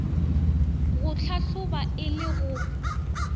go hlahloba e le go